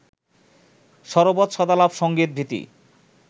সরবৎ সদালাপ সংগীত-ভীতি